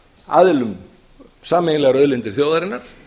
aðilum sameiginlegar auðlindir þjóðarinnar